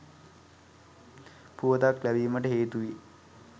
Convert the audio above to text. පුවතක් ලැබිමට හේතු වෙයි.